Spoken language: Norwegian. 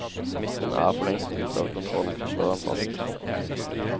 Smitten er forlengst ute av kontroll, slår han fast.